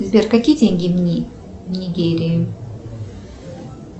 сбер какие деньги в нигерии